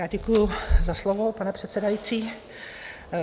Já děkuji za slovo, pane předsedající.